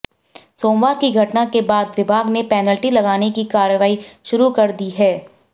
सोमवार की घटना के बाद विभाग ने पैनल्टी लगाने की कार्रवाई शुरू कर दी है